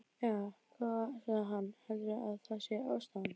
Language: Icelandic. Jæja, góða, sagði hann, heldurðu að það sé ástæðan?